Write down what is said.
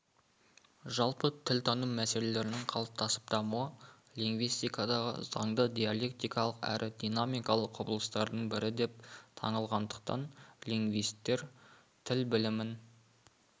жалпы тілтану мәселелерінің қалыптасып дамуы лингвистикадағы заңды диалектикалық әрі динамикалық құбылыстардың бірі деп танылғандықтан лингвистер тіл білімін